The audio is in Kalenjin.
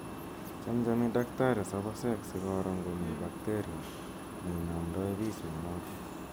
Chamchami daktari soposek �si koro ngomi bakteria ne inamdai piich mianotok